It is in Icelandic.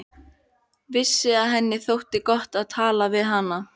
Vissi að henni þótti gott að tala við hana.